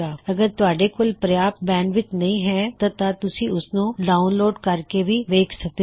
ਅਗਰ ਤੁਹਾੱਡੇ ਕੋਲ ਪ੍ਰਯਾਪਤ ਬੈਂਡਵਿੱਥ ਨਹੀ ਹੈ ਤਾਂ ਤੁਸੀਂ ਇਸਨੂੰ ਡਾਉਨਲੋਡ ਕਰ ਕੇ ਵੀ ਵੇਖ ਸਕਦੇ ਹੋ